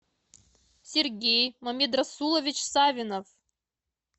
сергей мамедрасулович савинов